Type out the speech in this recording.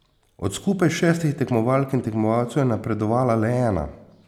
Od skupaj šestih tekmovalk in tekmovalcev je napredovala le ena.